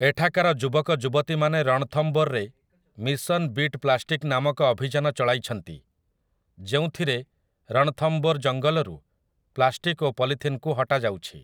ଏଠାକାର ଯୁବକଯୁବତୀମାନେ ରଣଥମ୍ଭୋରରେ ମିଶନ ବିଟ୍ ପ୍ଲାଷ୍ଟିକ୍ ନାମକ ଅଭିଯାନ ଚଳାଇଛନ୍ତି, ଯେଉଁଥିରେ ରଣଥମ୍ଭୋର ଜଙ୍ଗଲରୁ ପ୍ଲାଷ୍ଟିକ୍ ଓ ପଲିଥିନ୍‌କୁ ହଟାଯାଉଛି ।